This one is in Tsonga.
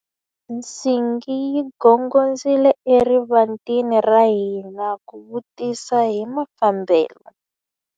Nsingi yi gongondzile eka rivanti ra hina ku vutisa hi mafambelo.